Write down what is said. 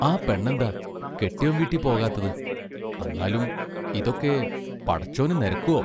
ആ പെണ്ണന്താ കെട്ടിയോൻ വീട്ടിപ്പോകാത്തത് അന്നാലും ഇതൊക്കെ പടച്ചോനു നെരക്കുവോ?